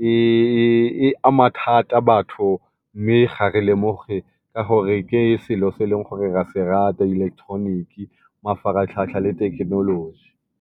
e ama thata batho, mme ga re lemoge ka gore ke selo se e leng gore ra se rata electronic, mafaratlhatlha le thekenoloji.